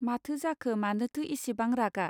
माथो जाखो मानोथो इसेबां रागा.